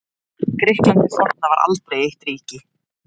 Grikkland hið forna var aldrei eitt ríki.